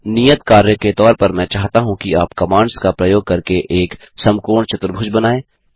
नियत कार्य के तौर पर मैं चाहता हूँ कि आप कमांड्स का प्रयोग करके एक समकोण चतुर्भुज बनाएँ